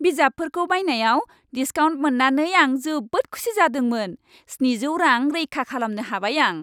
बिजाबफोरखौ बायनायाव डिस्काउन्ट मोन्नानै आं जोबोद खुसि जादोंमोन। स्निजौ रां रैखा खालामनो हाबाय आं।